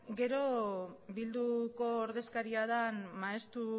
gero eh bilduko ordezkaria den maeztu